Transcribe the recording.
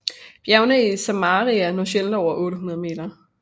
Bjergene i Samaria når sjældent over 800 meter